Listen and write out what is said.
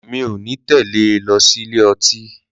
Mí ò ní tẹ́lẹ̀ ẹ lọ sí ilé ìmútì.